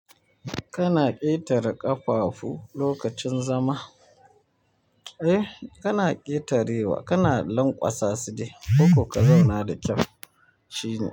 Kana ƙetare ƙafafu lokacin zama. Eh, kana ƙetare wa, kana lankwasa su dai. Koko ka zauna da kyau shine.